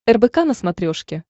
рбк на смотрешке